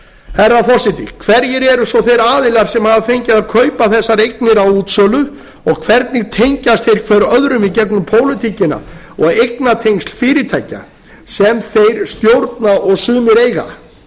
herra forseti hverjir eru svo þeir aðilar sem hafa fengið að kaupa þessar eignir á útsölu og hvernig tengjast þeir hver öðrum í gegnum pólitíkina og eignatengsl fyrirtækja sem þeir stjórna og sumir eiga